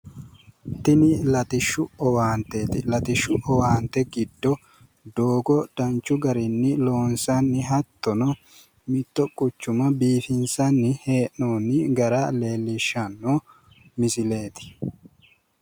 Tini latishshu owaanteeti. latishshu owaante giddo doogo danchu garinni loonsanni hee'noonni hattono mitto quchuma biifinsanni hee'noonni gara leellishshanno misileeti.